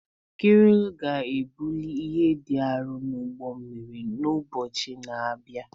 Kreenị ga-ebuli ihe dị arọ n'ụgbọ mmiri n'ụbọchị na-abịa.